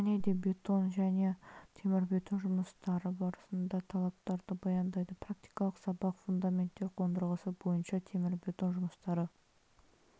және де бетон және темірбетон жұмыстары барысында талаптарды баяндайды практикалық сабақ фундаменттер қондырғысы бойынша темірбетон жұмыстары